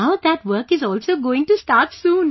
Now that work is also going to start soon